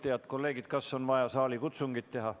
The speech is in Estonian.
Head kolleegid, kas on vaja saalikutsungit?